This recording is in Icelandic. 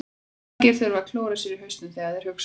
Margir þurfa að klóra sér í hausnum þegar þeir hugsa.